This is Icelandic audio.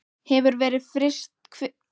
Hver verður fyrstur til að taka pokann sinn?